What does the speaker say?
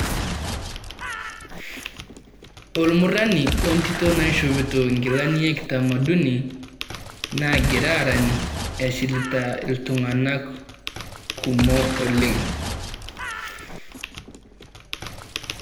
Olmurani we ntito naishopito inkilani e kitamaduni, nagira arany eshilita iltung'ana kumok oleng.